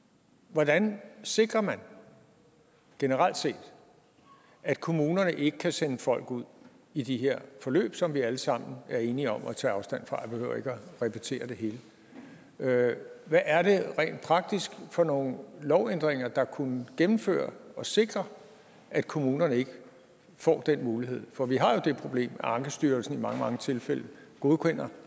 hvordan sikrer man generelt set at kommunerne ikke kan sende folk ud i de her forløb som vi alle sammen er enige om at tage afstand fra jeg behøver ikke at repetere det hele hvad er det rent praktisk for nogle lovændringer der kunne gennemføres og sikre at kommunerne ikke får den mulighed for vi har jo det problem at ankestyrelsen i mange mange tilfælde godkender